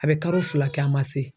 A bɛ karo fila kɛ a man se